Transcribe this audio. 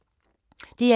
DR1